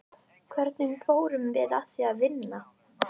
Hvernig fórum við að því að vinna?